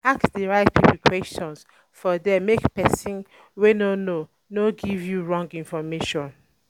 Ask di right pipo questions for there make persin wey no know no give you wrong information